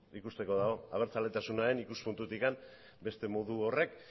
ikusteko dago abertzaletasunaren ikuspuntutik beste modu horrek